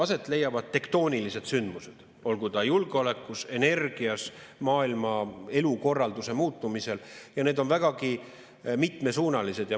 Aset leiavad tektoonilised sündmused, olgu julgeolekus, energias, maailma elukorralduse muutumisel, ja need on vägagi mitmesuunalised.